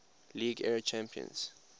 league era champions